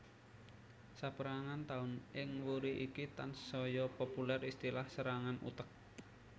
Sapérangan taun ing wuri iki tansaya populèr istilah serangan utek